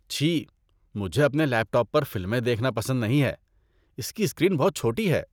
چھی ۔ مجھے اپنے لیپ ٹاپ پر فلمیں دیکھنا پسند نہیں ہے۔ اس کی اسکرین بہت چھوٹی ہے۔